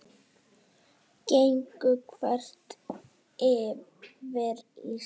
Gengu þvert yfir Ísland